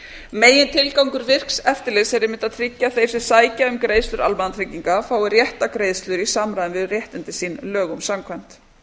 megintilgangur virks eftirlits er einmitt að tryggja að þeir sem sækja um greiðslur almannatrygginga fái réttar greiðslur í samræmi við réttindi sín lögum samkvæmt